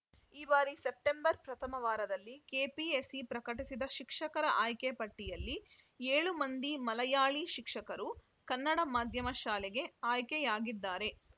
ಈ ಬಾರಿ ಸೆಪ್ಟೆಂಬರ್‌ ಪ್ರಥಮ ವಾರದಲ್ಲಿ ಕೆಪಿಎಸ್‌ಸಿ ಪ್ರಕಟಿಸಿದ ಶಿಕ್ಷಕರ ಆಯ್ಕೆ ಪಟ್ಟಿಯಲ್ಲಿ ಏಳು ಮಂದಿ ಮಲಯಾಳಿ ಶಿಕ್ಷಕರು ಕನ್ನಡ ಮಾಧ್ಯಮ ಶಾಲೆಗೆ ಆಯ್ಕೆಯಾಗಿದ್ದಾರೆ